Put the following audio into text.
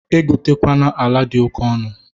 Egotekwana ala dị oke ọnụ!